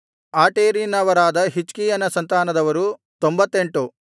ಆಟೇರಿನವರಾದ ಹಿಜ್ಕೀಯನ ಸಂತಾನದವರು 98